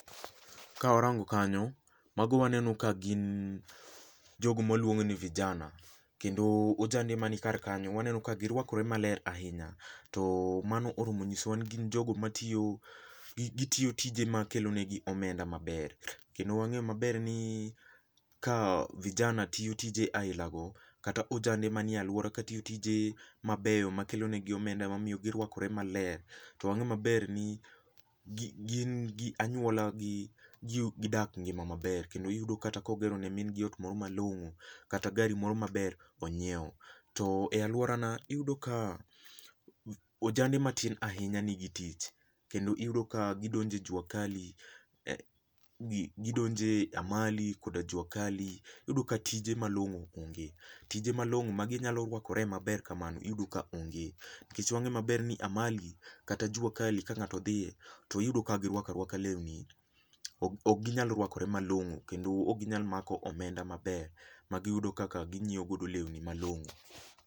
Ka warango kanyo, mago waneno ka gin jogo ma waluongo ni vijana. Kendo ojande mani kar kanyo, waneno ka girwakore maler ahinya. To mano oromo nyisowa ni gin jogo matiyo, gitiyo tije ma kelonegi omenda maber. Kendo wang'eyo maber ni, ka vijana tiyo tije ailago, kata ojande manie alwora katiyo tije mabeyo makelonegi omenda mamiyo girwakore maler ,to wang'e maber ni gin gi anywolagi jii gidak ngima maber. Kendo iyudo kata kogero ne mingi ot moro malong'o kata gari moro maber onyiewo. To e alworana, iyudo ka ojande matin ahinya nigi tich, kendo iyudo ka gidonje jua kali, gidonje amali koda jua kali, iyudo ka tije malong'o onge. Tije malong'o ma ginyalo rwakore maber kamano iyudo ka onge. Nikech wang'e maber ni amali kata jua kali ka ng'ato dhiye, tiyudo ka girwakarwaka lewni, ok ginyal rwakore malong'o kendo ok ginyal mako omenda maber magiyudo kaka ginyiewogodo lewni malong'o.